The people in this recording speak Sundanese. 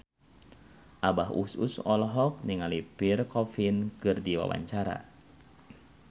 Abah Us Us olohok ningali Pierre Coffin keur diwawancara